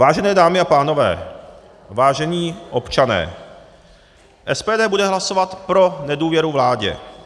Vážené dámy a pánové, vážení občané, SPD bude hlasovat pro nedůvěru vládě.